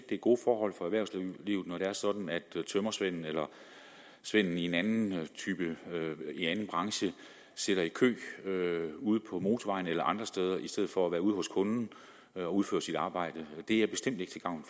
det er gode forhold for erhvervslivet når det er sådan at tømmersvenden eller svenden i en anden branche sidder i kø ude på motorvejen eller andre steder i stedet for at være ude hos kunden og udføre sit arbejde det er bestemt ikke til gavn